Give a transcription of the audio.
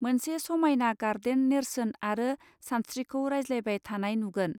मोनसे समायना गार्डेन नेर्सोन आरो सानस्त्रिखौ रायज्लायबाय थानाय नुगोन